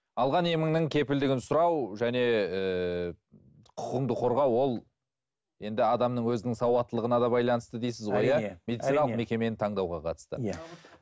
алған еміңнің кепілдігін сұрау және ііі құқығыңды қорғау ол енді адамның өзінің сауаттылығына да байланысты дейсіз ғой медициналық мекемені таңдауға қатысты